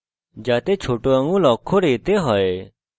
নিশ্চিত করুন যে ছোট আঙুল অক্ষর a তে হয়